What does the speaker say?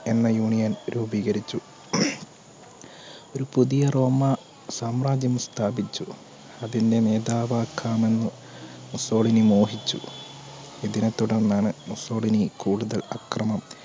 എന്ന union രൂപികരിച്ചു ഒരു പുതിയ റോമാ സാമ്രാജ്യം സ്ഥാപിച്ചു അതിന്റെ മാധവാകാമെന്ന് മുസോളിനി മോഹിച്ചു ഇതിനെ തുടർന്നാണ് മുസോളിനി കൂടുതൽ അക്രമം